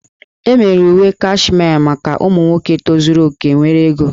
E mebere uwe Kashmee maka ụmụ nwoke tozuru oke nwere ego